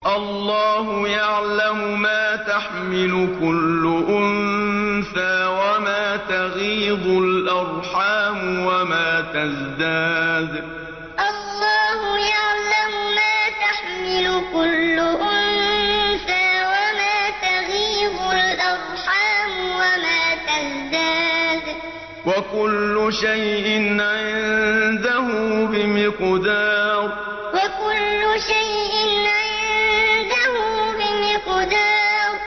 اللَّهُ يَعْلَمُ مَا تَحْمِلُ كُلُّ أُنثَىٰ وَمَا تَغِيضُ الْأَرْحَامُ وَمَا تَزْدَادُ ۖ وَكُلُّ شَيْءٍ عِندَهُ بِمِقْدَارٍ اللَّهُ يَعْلَمُ مَا تَحْمِلُ كُلُّ أُنثَىٰ وَمَا تَغِيضُ الْأَرْحَامُ وَمَا تَزْدَادُ ۖ وَكُلُّ شَيْءٍ عِندَهُ بِمِقْدَارٍ